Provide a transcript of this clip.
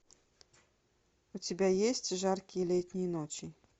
у тебя есть жаркие летние ночи